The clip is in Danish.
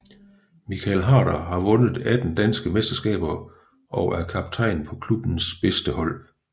Michael Harder har vundet 18 danske mesterskaber og er kaptajn på klubbens bedste hold